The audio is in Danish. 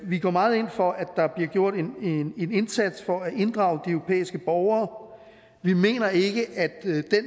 vi går meget ind for at der bliver gjort en indsats for at inddrage de europæiske borgere vi mener ikke at den